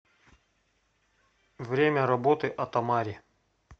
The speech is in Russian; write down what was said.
время работы атамари